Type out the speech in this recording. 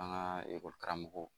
An ka karamɔgɔw